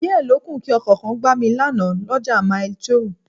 Díẹ̀ lókù kí Ọkọ̀ kan gbá mi lánàá l'ọ́ja Maili2